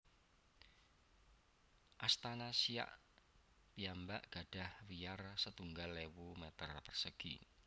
Astana Siak piyambak gadhah wiyar setunggal ewu meter persegi